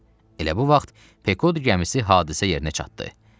Elə bu vaxt Pekod gəmisi hadisə yerinə çatdı.